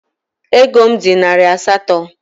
Ego m dị narị asatọ.